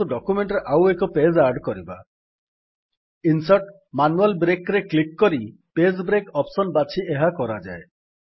insert ଜିଟିଜିଟି manual Breakରେ click କରି ପେଜ୍ ବ୍ରେକ୍ ଅପ୍ସନ୍ ବାଛି ଏହା କରାଯାଏ